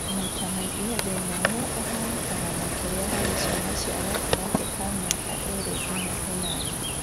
Maita maingĩ thĩna ũyũ ũhanĩkaga makĩria harĩ ciana cia gatagatĩ ka mĩaka ĩrĩ nginya ĩnana